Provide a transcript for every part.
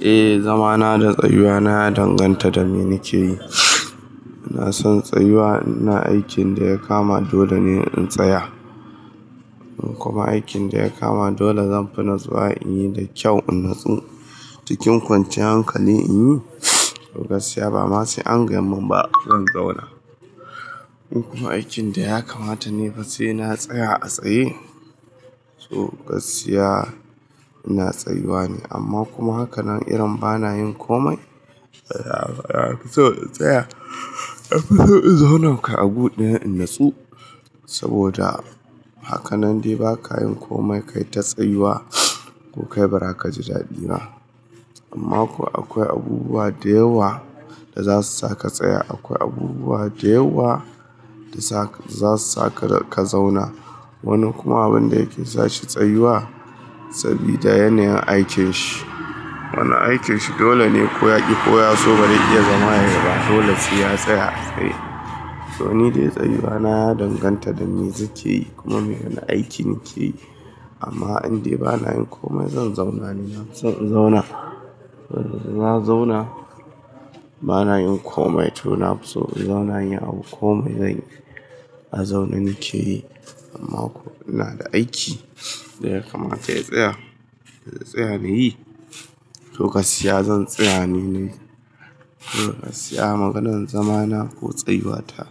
Eh, zama na da tsayuwa na ya danganta da me nake yi. Ina son tsayuwa in ina aikin da ya kama dole ne in tsaya. Kuma aikin da ya kama dole zan fi nisuwa in yi da kyau, in natsu cikin kwanciyar hankali in yi. To gaskiya ba ma sai angaya min ba zan zauna. Kuma aikin da ya kamata ni fa sai na tsaya a tsaye. To gaskiya ina tsayuwa ne amma kuma hakanan irin bana yin komai. To in tsaya, in zauna kai a buɗe in natsu saboda hakanan dai ba ka yin komai, kai ta tsayuwa ko kai bara ka ji daɗi ba. Amma kuwa akwai abubuwa da yawa da za su saka tsaya, akwai abubuwa da yawa da za su saka ka zauna. Wani kuma wanda yake sashi tsayuwa sabida yanayin aikin shi. Wani aikin shi dole ne ko ya ƙi ko ya so ba zai iya zama ya yaba dole sai ya tsaya a tsaye. To ni dai tsayuwa na ya danganta da me suke yi kuma me yanayin aikin nake yi. Amma indai bana yin komai zan zauna ne, na fi son in zauna. Na zauna bana yin komai to na fi so in zauna, in yi abu komai zanyi a zaune nake yi. Amma kuma in ina da aiki da ya kamata ya tsaya, ya tsaya ya yi. To gaskiya zan tsaya ne. To gaskiya maganar zama na ko tsayuwa ta.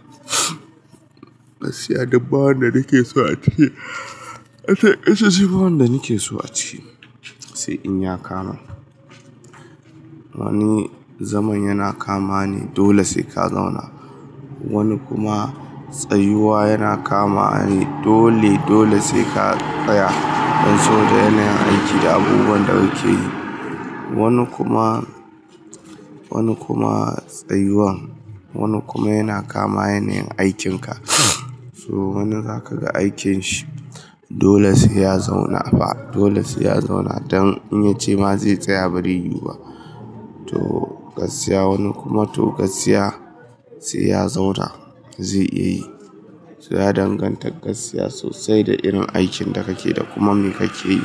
Gaskiya duk ba wanda nake so a ci, ita shi wanda nake so a ci sai in ya kama. Wani zaman yana kama ne dole sai ka zauna. Wani kuma tsayuwa yana kama ne dole, dole sai ka tsaya don sabida yanayin aiki da abubuwan da muke yi. Wani kuma, wani kuma tsayuwan, wani kuma yana kama yanayin aikinka. To wani zaka ga aikin shi dole sai ya zauna fa, dole sai ya zauna don in ya ce ma zai tsaya b be rai yu ba. To gaskiya wani kuma to gaskiya sai ya zauna zai iya yi. Sai ya danganta gaskiya sosai da irin aikin da kake da kuma me kake yi.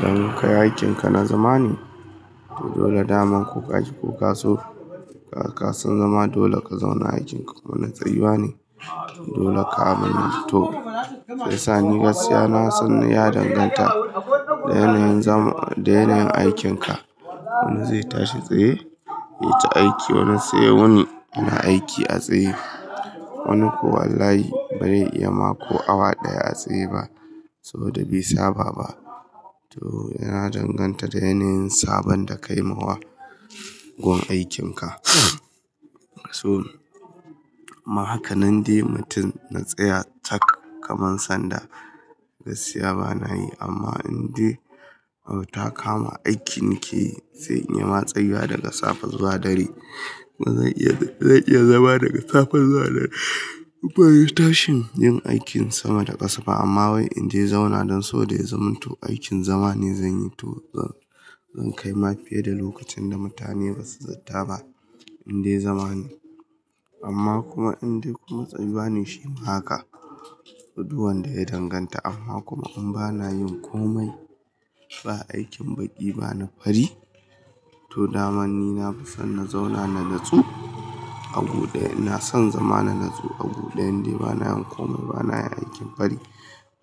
Idan kai aikinka na zama ne to dole daman ko ka ƙi ko ka so ka son zama dole ka zauna aikinka. Wani tsayuwa ne dole ka aminto. Shiyasa ni gaskiya na son yi ya danganta da yanayin zama, da yanayin aikinka. Wani zai tashi tsaye ya yi ta aiki, wani sai ya wuni yana aiki a tsaye. Wani ko wallahi ba rai iya ma ko awa ɗaya a tsaye ba saboda bi saba ba. To yana danganta da yanayin sabon da ka yi ma wa gun aikinka. To amma hakanan dai mutum na tsaya tak kamar sanda gaskiya ba na yi amma indai abu ta kama aiki nake yi sai in yi ma tsayuwa daga safe zuwa dare. Zan iya, zan iya zama daga safe zuwa dare. Ban yi tashin yin aikin sama da ƙasa ba amma wai indai zauna don saboda ya zaman to aikin zama ne zan yi to zan, zan kai ma fiye da lokacin da mutane ba su zata ba indai zama ne. Amma kuma indai kuma tsayuwa ne shi ma haka. Duk wanda ya danganta amma kuma in ba na yin komai, ba aikin baƙi ba na fari to daman ni na fi son na zauna na natsu a buɗe. Ina son zama na natsu a buɗe indai bana yin komai, bana yin aikin fari,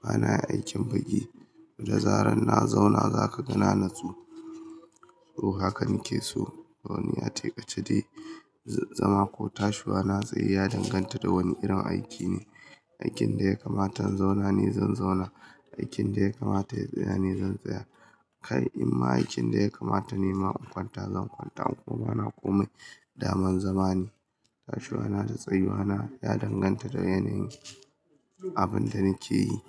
bana yin aikin baƙi. Da zarar na zauna za ka ga na nitsu. To haka nake so. To wani ya ce ace dai zama ko tashiwa na tsaye ya danganta da wani irin aiki ne. Aikin da ya kamata in zauna ne zan zauna. Aikin da ya kamata ya tsaya ne zan tsaya. Kai amma aikin da ya kamata nima in kwanta zan kwanta in kuma bana komai daman zama ne. Tashiwa na da tsayuwa na ya danganta da yanayin abin da nake yi.